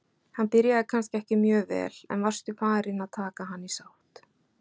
Hann byrjaði kannski ekki mjög vel, en varstu farinn að taka hann í sátt?